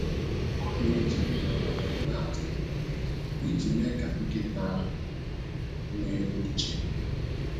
Ọ na-eji mgbede ọbụla na-atụ bọl iji mee ka nkịta ahụ nwee uche.